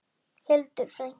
Hildur frænka.